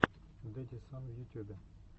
дэдисан в ютюбе